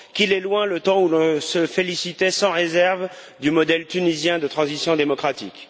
Qu'il est loin le temps où l'on se félicitait sans réserve du modèle tunisien de transition démocratique.